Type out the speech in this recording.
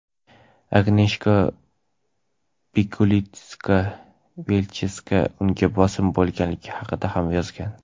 Agneshka Pikulitska-Vilchevska unga bosim bo‘lganligi haqida ham yozgan.